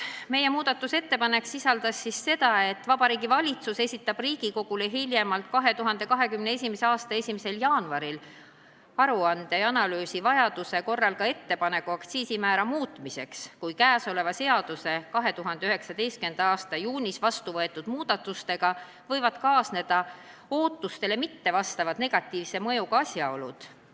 Meie muudatusettepanek oli, et Vabariigi Valitsus esitab Riigikogule hiljemalt 2021. aasta 1. jaanuaril aruande ja analüüsi, vajaduse korral ka ettepaneku aktsiisimäära muutmiseks, kui kõnealuse seaduse 2019. aasta juunis vastu võetud muudatustega kaasnevad ootustele mittevastavad negatiivse mõjuga asjaolud.